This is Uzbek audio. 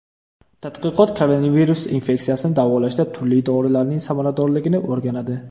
Tadqiqot koronavirus infeksiyasini davolashda turli dorilarning samaradorligini o‘rganadi.